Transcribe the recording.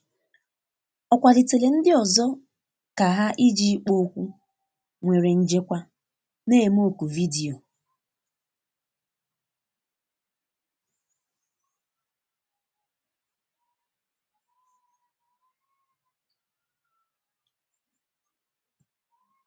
ọ kwalitere ndi ọzọ ka ha iji ikpo okwu nwere njekwa na eme oku vidiyo.